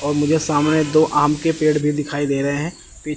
और मुझे सामने दो आम के पेड़ भी दिखाई दे रहे हैं पी--